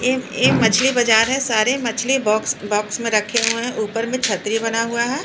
ये ये मछली बाजार है सारे मछली बॉक्स बॉक्स में रखे हुए हैं ऊपर में छतरी बना हुआ है।